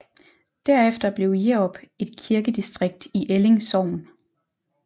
Derefter blev Jerup et kirkedistrikt i Elling Sogn